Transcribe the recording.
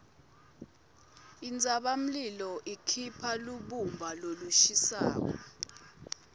intsabamlilo ikhipha lubumba lolushisako